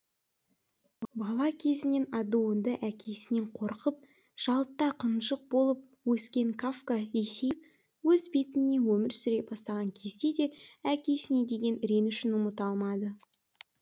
бала кезінен адуынды әкесінен қорқып жалтақ ынжық болып өскен кафка есейіп өз бетімен өмір сүре бастаған кезде де әкесіне деген ренішін ұмыта алмады